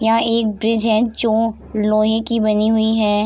यहाँ एक ब्रिज है जो लोहे की बनी हुई है।